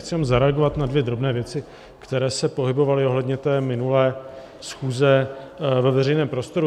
Chci jenom zareagovat na dvě drobné věci, které se pohybovaly ohledně té minulé schůze ve veřejném prostoru.